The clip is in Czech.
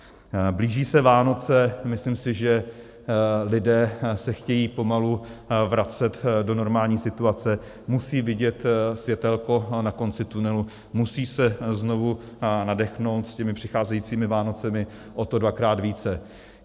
Blíží se Vánoce, myslím si, že lidé se chtějí pomalu vracet do normální situace, musí vidět světélko na konci tunelu, musí se znovu nadechnout, s těmi přicházejícími Vánocemi o to dvakrát více.